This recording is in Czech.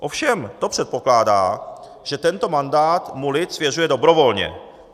Ovšem to předpokládá, že tento mandát mu lid svěřuje dobrovolně.